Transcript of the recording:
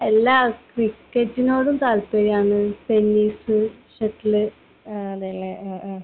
അല്ല. ക്രിക്കറ്റിനോടും താല്പര്യമാണ്. ടെന്നിസ്, ഷട്ടിൽ,... അങ്ങനെ .